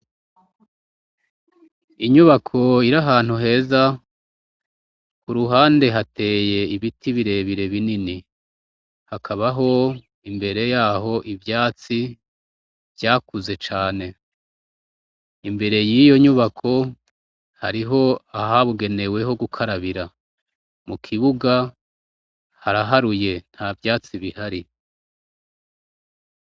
Inyubako iri ahantu heza ku ruhande hateye ibiti birebire binini hakabaho imbere yaho ivyatsi vyakuze cane imbere y'iyo nyubako hariho ahabugeneweho gukarabira mu kibuga haraharuye nta vyatsi bihari.